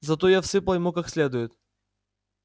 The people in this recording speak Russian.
зато я всыпал ему как следует